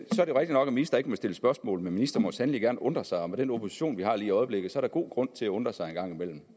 nok at ministre ikke må stille spørgsmål men ministeren må sandelig gerne undre sig og med den opposition vi har lige i øjeblikket er der god grund til at undre sig en gang imellem